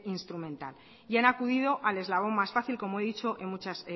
instrumental y han acudido al eslabón más fácil como he dicho en muchas